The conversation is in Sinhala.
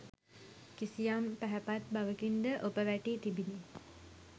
කිසියම් පැහැපත් බවකින් ද ඔප වැටී තිබිණි.